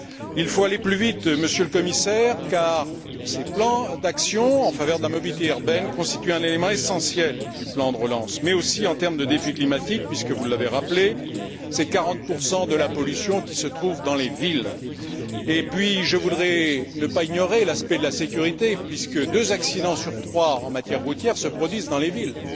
Il faut aller plus vite, Monsieur le Commissaire, car ces plans d'action en faveur de la mobilité urbaine constituent un élément essentiel du plan de relance, mais aussi en termes de défi climatique puisque, vous l'avez rappelé, c'est 40 de la pollution qui se trouve dans les villes. Je ne voudrais pas ignorer non plus l'aspect de la sécurité puisque deux accidents sur trois en matière routière se produisent dans les villes.